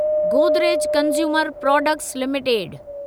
Godrej consumer products limited